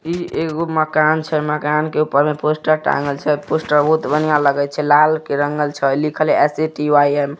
इ एगो मकान छे मकान के ऊपर में पोस्टर टांगल छे। पोस्टर बहुत बढ़िया लगई छे लाल रंग छे लिखल एस.ए.टी.वाई.एम. ।